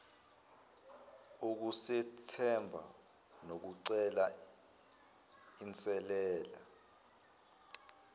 ukuzethemba nokucela inselele